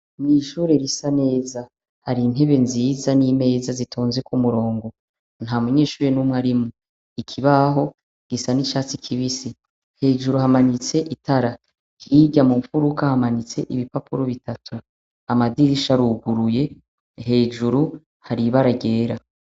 Ni ishure risa neza, hari intebe nziza n'imeza zitonze ku murongo, nta munyeshure n'umwe arimwo, ikibaho gisa n'icatsi kibisi, hejuru hamanitse itara, hirya mu mfuruka hamanitse ibipapuro bitatu, amadirisha aruguruye, hejuru hari ibara ryera.